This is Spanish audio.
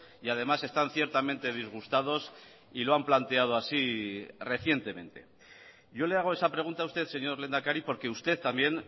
y además están ciertamente disgustados y lo han planteado así recientemente yo le hago esa pregunta a usted señor lehendakari porque usted también